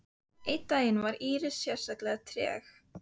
Einn daginn var Íris sérlega treg.